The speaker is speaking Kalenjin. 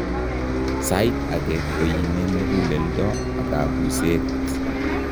Saait ake koiime muguleldo ak kabuseet